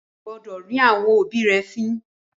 O kò gbọdọ̀ rín àwọn òbí rẹ fín!